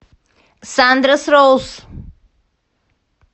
сандрас роуз